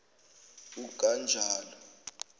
ukanjalo